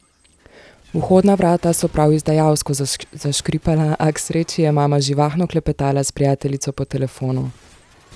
Vhodna vrata so prav izdajalsko zaškripala, a k sreči je mama živahno klepetala s prijateljico po telefonu.